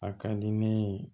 A ka di ne ye